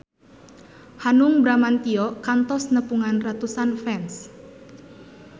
Hanung Bramantyo kantos nepungan ratusan fans